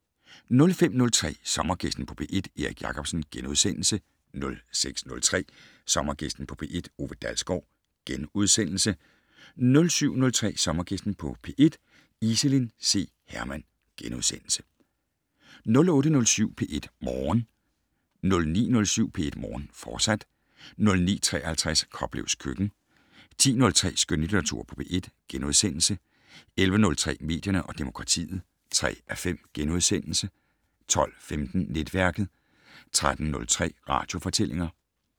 05:03: Sommergæsten på P1: Erik Jacobsen * 06:03: Sommergæsten på P1: Ove E. Dalsgaard * 07:03: Sommergæsten på P1: Iselin C. Hermann * 08:07: P1 Morgen 09:07: P1 Morgen, fortsat 09:53: Koplevs køkken 10:03: Skønlitteratur på P1 * 11:03: Medierne og demokratiet (3:5)* 12:15: Netværket 13:03: Radiofortællinger